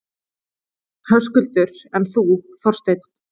Höskuldur: En þú, Þorsteinn?